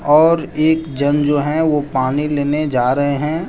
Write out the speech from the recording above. और एक जन जो है वो पानी लेने जा रहे हैं।